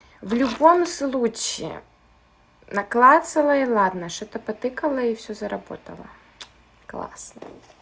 в любом случае на классовой ладно что-то по тыкала и всё заработало классно